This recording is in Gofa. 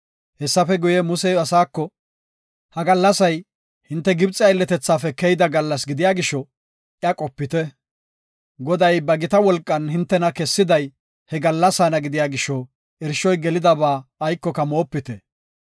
Hessafe guye, Musey asaako, “Ha gallasay, hinte Gibxe aylletethaafe keyida gallas gidiya gisho iya qopite. Goday ba gita wolqan hintena kessiday he gallasaana gidiya gisho, irshoy gelidaba aykoka moopite.